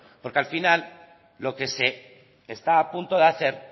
porque al final lo que se está a punto de hacer